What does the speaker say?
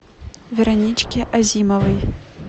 вероничке азимовой